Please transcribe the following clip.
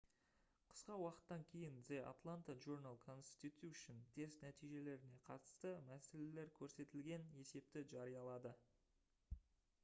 қысқа уақыттан кейін the atlanta journal-constitution тест нәтижелеріне қатысты мәселелер көрсетілген есепті жариялады